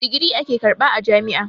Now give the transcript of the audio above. Digiri ake karɓa a jam'i.